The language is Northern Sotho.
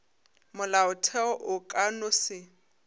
molaotheo o ka no se